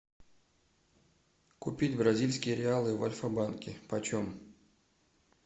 купить бразильские реалы в альфа банке почем